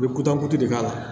I bɛ kudukotu de k'a la